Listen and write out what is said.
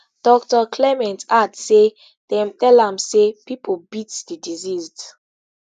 dr clement add say dem tell am say pipo beat di deceased